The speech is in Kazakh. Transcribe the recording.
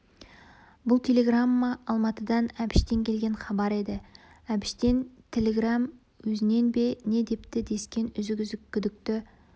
бұл телеграмма алматыдан әбіштен келген хабар еді әбіштен тіліграм өзінен бе не депті дескен үзік-үзік күдікті